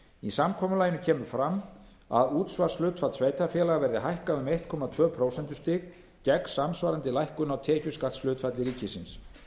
í samkomulaginu kemur fram að útsvarshlutfall sveitarfélaga verði hækkað um einn komma tvö prósentustig gegn samsvarandi lækkun á tekjuskattshlutfalli ríkisins